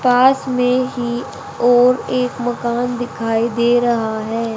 पास में ही और एक मकान दिखाई दे रहा है।